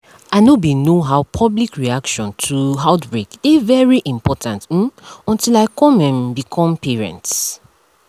i know bin know how public reaction um to outbreak dey very important um until i come um become parents